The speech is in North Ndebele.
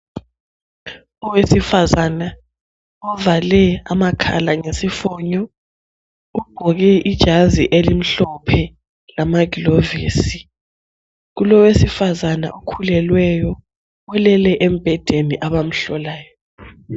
Owesifazane uvale amakhala ngesifonyo ugqoke ijazi elimhlophe lamaglovisi ,Kulowesifazane okhulelweyo olele embhedeni abamhlolayo